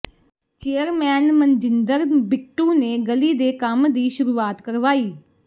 chairman Manjinder Bittu ਨੇ ਗਲੀ ਦੇ ਕੰਮ ਦੀ ਸ਼ੁਰੂਆਤ ਕਰਵਾਈ